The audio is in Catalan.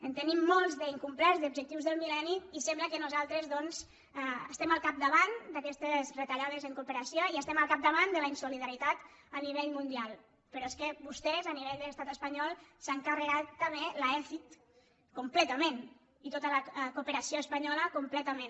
en tenim molts d’incomplerts d’objectius del millenni i sembla que nosaltres doncs estem al capdavant d’aquestes retallades en cooperació i estem al capdavant de la insolidaritat a nivell mundial però és que vostès a nivell de l’estat espanyol s’han carregat també l’aecid completament i tota la cooperació espanyola completament